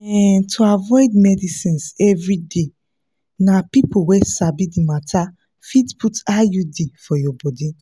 um to avoid medicines everyday na people wey sabi the matter fit put iud for your body.